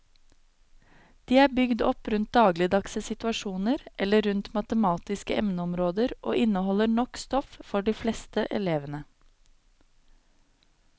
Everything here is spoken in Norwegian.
De er bygd opp rundt dagligdagse situasjoner eller rundt matematiske emneområder og inneholder nok stoff for de fleste elevene.